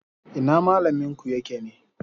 Ina malaminku yake ne?